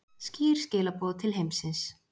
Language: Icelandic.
Skýr skilaboð til heimsins